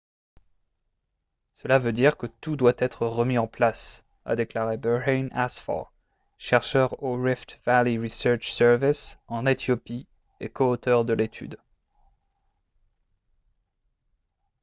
« cela veut dire que tout doit être remis en place » a déclaré berhane asfaw chercheur au rift valley research service en éthiopie et co-auteur de l'étude